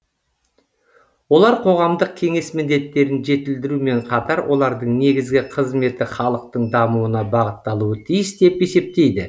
олар қоғамдық кеңес міндеттерін жетілдірумен қатар олардың негізгі қызметі халықтың дамуына бағытталуы тиіс деп есептейді